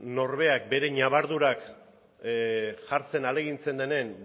norberak bere ñabardurak jartzen ahalegintzen denen